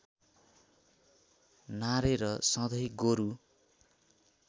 नारेर सधैँ गोरू